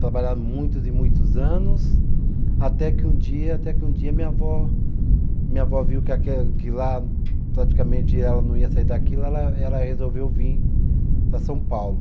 Trabalhavam muitos e muitos anos, até que um dia, até que um dia minha avó, minha avó viu que aque, que lá praticamente ela não ia sair daquilo, ela ela resolveu vir para São Paulo.